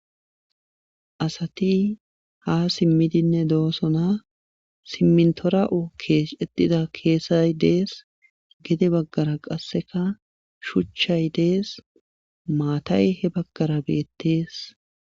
asati ha simmidinne doosona simmintora7o kees etida keesay dees gede baggara qasseka shuchchay dees maatay he baggara beettees